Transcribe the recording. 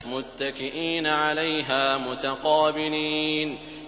مُّتَّكِئِينَ عَلَيْهَا مُتَقَابِلِينَ